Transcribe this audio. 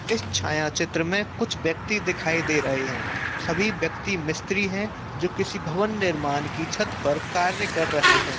इस छायाचित्र में कुछ ब्यक्ति दिखाई दे रहे हैं सभी व्यक्ती मिस्त्री है जो किसी भवन निर्माण की छत पर कार्य कर रहे हैं।